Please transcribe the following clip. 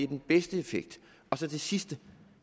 den bedste effekt til det sidste